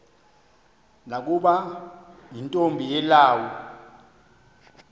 nokuba yintombi yelawu